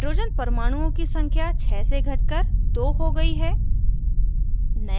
hydrogen परमाणुओं की संख्या 6 से atoms कर 2 हो गयी है